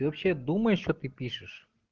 ты вообще думаешь что ты пишешь